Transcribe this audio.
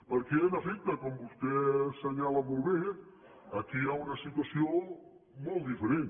perquè en efecte com vostè assenyala molt bé aquí hi ha una situació molt diferent